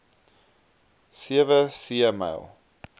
sewe see myl